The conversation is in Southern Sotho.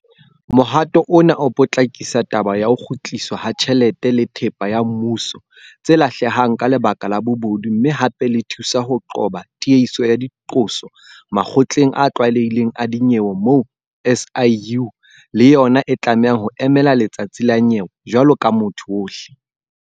Mohato ona o potlakisa taba ya ho kgutliswa ha tjhelete le thepa ya mmuso tse lahlehang ka lebaka la bobodu mme hape le thusa ho qoba tiehiso ya diqoso makgotleng a tlwaelehileng a dinyewe moo SIU le yona e tlamehang ho emela letsatsi la nyewe jwalo ka motho ohle.